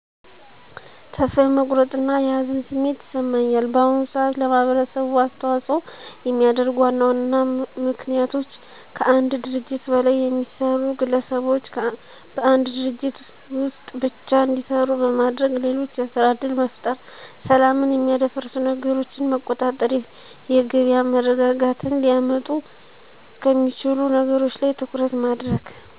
ተስፋ የመቁረጥ እና የሀዘን ስሜት ይሰማኛል። በአሁኑ ሰዓት ለማህበረሰቡ አሰተዋፅዖ የሚያደርጉ ዋና ዋና ምክንያቶች፦ ከአንድ ድርጅት በላይ የሚሰሩ ግለሰቦች በአንድ ድርጅት ወስጥ ብቻ እንዲሰሩ በማድረግ ሌሎች የስራ እድል መፍጠር፣ ሰላምን የሚያደፈርሱ ነገረችን መቆጣጠር፣ የገቢያ መረጋጋትን ሊያመጡ ከሚችሉ ነገሮች ላይ ትኩረት ማድረግ።